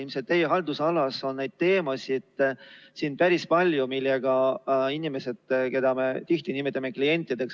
Ilmselt on teie haldusalas päris palju teemasid, millega puutuvad kokku inimesed, keda me tihti nimetame klientideks.